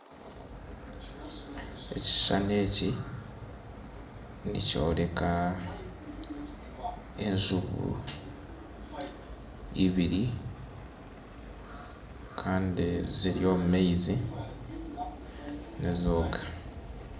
Ekishishani eki nikyoreka enjubu ibiri kandi ziri omumaizi nizooga.